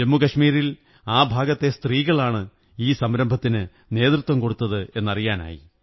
ജമ്മൂ കശ്മീരിൽ ആ ഭാഗത്തെ സ്ത്രീകളാണ് ഈ സംരംഭത്തിന് നേതൃത്വം കൊടുത്തതെന്ന് അറിയാനായി